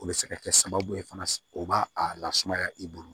O bɛ se ka kɛ sababu ye fana o b'a a lasumaya i bolo